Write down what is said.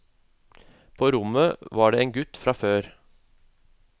På rommet var det en gutt fra før.